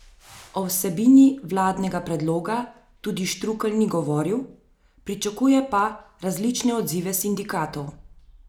O vsebini vladnega predloga tudi Štrukelj ni govoril, pričakuje pa različne odzive sindikatov.